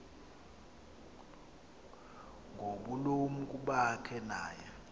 ngobulumko bakhe naye